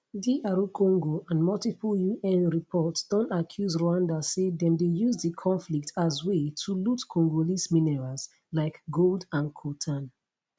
dr congo and multiple un reports don accuse rwanda say dem dey use di conflict as way to loot congolese minerals like gold and coltan